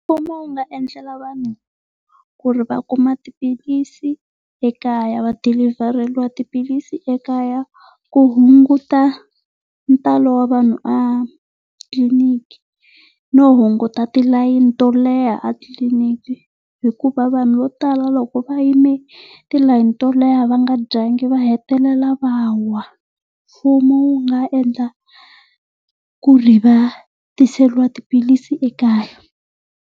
Mfumo wu nga endlela vanhu ku ri va kuma xiphilisi ekaya, va dilivheriwa tiphilisi ekaya ku hunguta ntalo wa vanhu a tliliniki no hunguta tilayini to leha a tliliniki hikuva vanhu vo tala loko va yime tilayini to leha va nga dyanga va hetelela va wa. Mfumo wu nga endla ku ri va tiseriwa tiphilisi ekaya.